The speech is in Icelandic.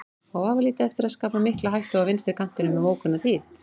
Á vafalítið eftir að skapa mikla hættu á vinstri kantinum um ókomna tíð.